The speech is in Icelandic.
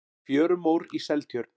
fjörumór í seltjörn